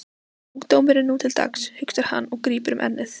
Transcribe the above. Ungdómurinn nú til dags, hugsar hann og grípur um ennið.